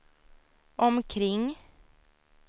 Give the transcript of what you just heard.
omkring